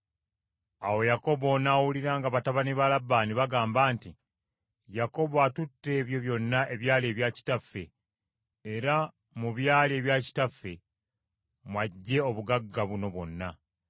Awo Yakobo n’awulira nga batabani ba Labbaani bagamba nti, “Yakobo atutte ebyo byonna ebyali ebya kitaffe, era mu byali ebya kitaffe mw’aggye obugagga buno bwonna.”